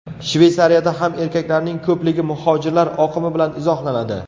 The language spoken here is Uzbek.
Shveysariyada ham erkaklarning ko‘pligi muhojirlar oqimi bilan izohlanadi.